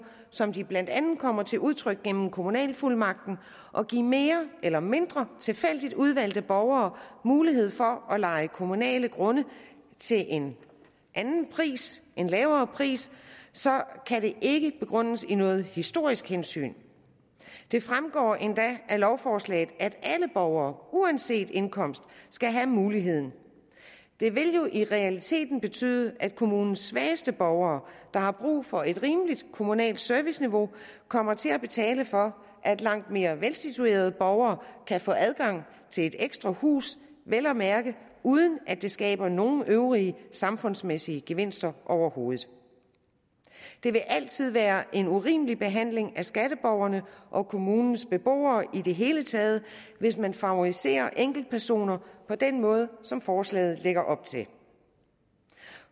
som de blandt andet kommer til udtryk gennem kommunalfuldmagten at give mere eller mindre tilfældigt udvalgte borgere mulighed for at leje kommunale grunde til en anden pris en lavere pris så kan det ikke begrundes i noget historisk hensyn det fremgår endda af lovforslaget at alle borgere uanset indkomst skal have muligheden det vil jo i realiteten betyde at kommunens svageste borgere der har brug for et rimeligt kommunalt serviceniveau kommer til at betale for at langt mere velsituerede borgere kan få adgang til et ekstra hus vel at mærke uden at det skaber nogen øvrige samfundsmæssige gevinster overhovedet det vil altid være en urimelig behandling af skatteborgerne og kommunens beboere i det hele taget hvis man favoriserer enkeltpersoner på den måde som forslaget lægger op til